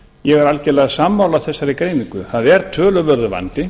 ég er algjörlega sammála þessari greiningu það er töluverður vandi